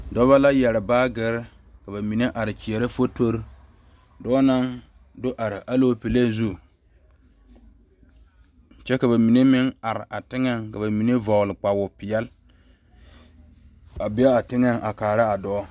Dɔɔba la yeere baagere ka bamine are kyɛre fotori dɔɔ naŋ do are Alɔpele zu kyɛ ka bamine meŋ are a teŋa ka bamine vɔgle kpawoɔ peɛle a be a teŋa a kaara a dɔɔ.